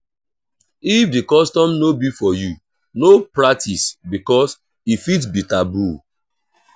if di custom no be for you no pratice because e fit be taboo